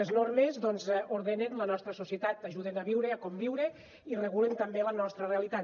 les normes doncs ordenen la nostra societat ajuden a viure a conviure i regulen també la nostra realitat